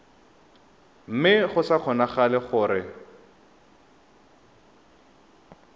mme go sa kgonagale gore